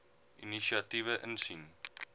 inisiatiewe insien